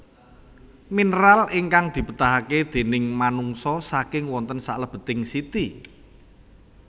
Minéral ingkang dibétahaké déning manungsa saking wonten salèbeting siti